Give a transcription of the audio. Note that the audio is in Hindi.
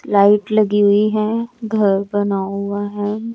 लाइट लगी हुई है घर बना हुआ है।